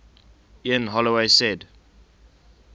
ian holloway said